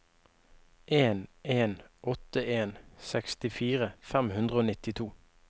en en åtte en sekstifire fem hundre og nittito